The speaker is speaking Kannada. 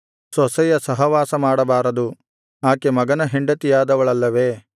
ಸೊಸೆಯ ಸಹವಾಸ ಮಾಡಬಾರದು ಆಕೆ ಮಗನ ಹೆಂಡತಿಯಾದವಳಲ್ಲವೇ